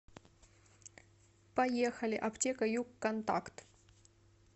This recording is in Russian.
поехали аптека югконтакт